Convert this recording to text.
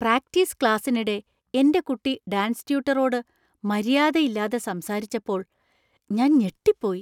Practice ക്ലാസ്സിനിടെ എന്‍റെ കുട്ടി ഡാൻസ് ട്യൂട്ടറോട് മര്യാദയില്ലാതെ സംസാരിച്ചപ്പോൾ ഞാൻ ഞെട്ടിപ്പോയി.